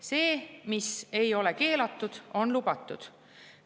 See, mis ei ole keelatud, on lubatud.